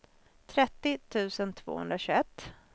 trettio tusen tvåhundratjugoett